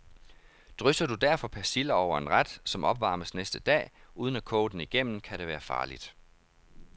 Drysser du derfor persille over en ret, som opvarmes næste dag, uden at koge den igennem, kan det være farligt.